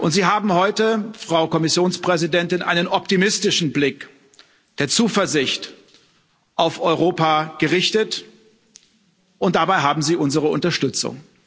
Sie haben heute, Frau Kommissionspräsidentin, einen optimistischen Blick der Zuversicht auf Europa gerichtet, und dabei haben Sie unsere Unterstützung.